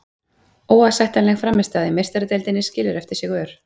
Óásættanleg frammistaða í Meistaradeildinni skilur eftir sig ör.